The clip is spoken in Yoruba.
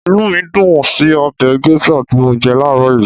Inú mí dùn ún sí ọbẹ̀ gẹ́ṣà tí mọ jẹ láàrọ́ yìí